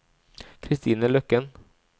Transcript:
Kristine Løkken